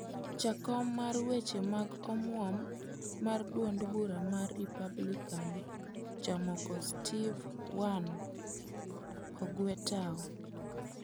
Jakom mar weche mag omuom mar duond bura mar Republican jamoko Steve Wynn, ogwe tao.